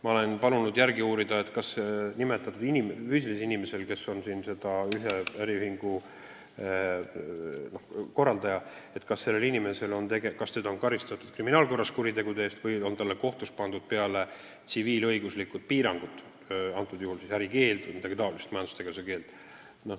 Ma olen palunud järele uurida, kas seda inimest, kes on ühe äriühingu korraldaja, on karistatud kriminaalkorras kuritegude eest või on talle kohtus peale pandud tsiviilõiguslikud piirangud, ärikeeld või mingi muu majandustegevuse keeld.